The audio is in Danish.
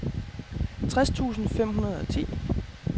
tres tusind fem hundrede og ti